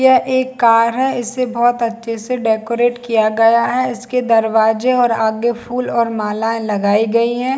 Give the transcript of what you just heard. यह एक कार है इसे बहोत अच्छे से डेकोरेट किया गया है इसके दरवाजे और आगे फूल और मालाएं लगाई गई है।